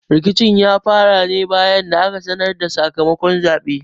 Rikicin ya fara ne bayan da aka sanar da sakamakon zaɓen.